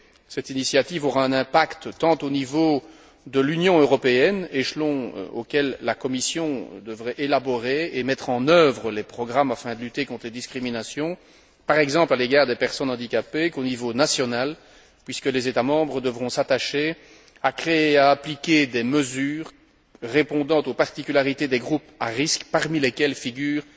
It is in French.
Cette initiative aura un impact tant au niveau de l'Union européenne échelon auquel la Commission devrait élaborer et mettre en œuvre les programmes afin de lutter contre les discriminations, par exemple à l'égard des personnes handicapées qu'au niveau national, puisque les États membres devront s'attacher à créer et à appliquer des mesures répondant aux particularités des groupes à risques, parmi lesquels figurent